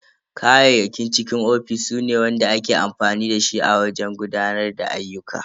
Kayayyakin cikin ofis su ne ake amfani da su wajen gudanar da ayyuka.